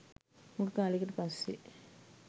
හුඟ කාලයකට පස්සේ.